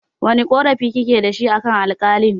Wane ƙorafi kike dashi akan Alƙalin?